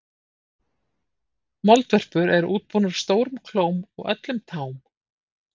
Moldvörpur eru útbúnar stórum klóm á öllum tám.